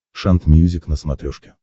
шант мьюзик на смотрешке